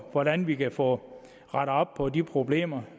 hvordan vi kan få rettet op på de problemer